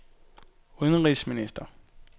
udenrigsminister